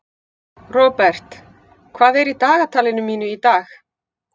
Robert, hvað er á dagatalinu mínu í dag?